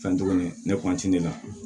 Fɛn tuguni ne de la